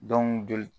joli